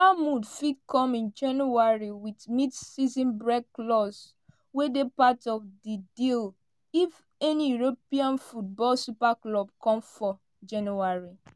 dat move fit come in january wit mid-season break clause wey dey part of di deal if any european football super clubs come for january.